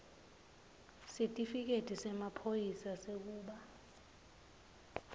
sitifiketi semaphoyisa sekuba